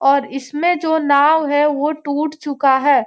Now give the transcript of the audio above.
और इसमें जो नाव है वो टूट चूका है।